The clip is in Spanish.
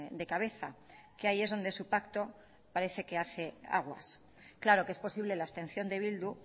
de cabeza que ahí es donde su pacto parece que hace aguas claro que es posible la abstención de bildu